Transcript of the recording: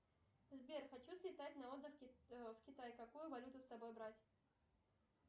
сбер хочу слетать на отдых в китай какую валюту с собой брать